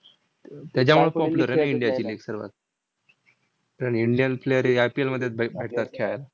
त्याच्यामुळंच popular आहे ना इंडियाची league सर्व. कारण indian player हे IPL मधेच भै भेटतात खेळायला.